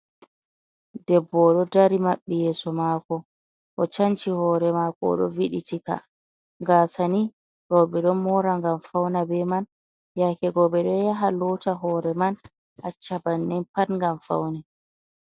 Debbo o ɗo dari babbi yeso mako, o chanci hore mako o ve'eti ka. Kasa nii rowɓe ɗo mora ngam fauna be man, yakego ɓeɗo yaha lota hore man acca bannin pat ngam paune.